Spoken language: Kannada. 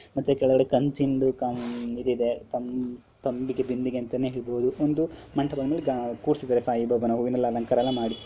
ಮತ್ತೆ ಕೆಳಗಡೆ ಕಂಚಿಂದು ಇದು ಇದೆ ತಂ--ಬಿಂದಿಗೆ ಅಂತ ಹೇಳಬಹುದು ಒಂದು ಮಂಟಪದ ಮೇಲೆ ಕುರಿಸಿದರೆ ಸಾಯಿಬಾಬಾನ ಹೂವಿನ ಅಲಂಕಾರ ಎಲ್ಲ ಮಾಡಿ.